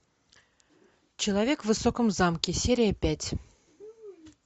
человек в высоком замке серия пять